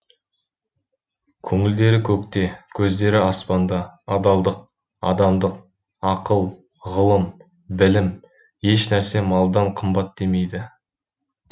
көңілдері көкте көздері аспанда адалдық адамдық ақыл ғылым білім ешнәрсе малдан қымбат демейді